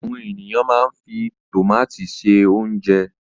Àwọn ènìyàn máa ń fi tòmátì se oúnjẹ.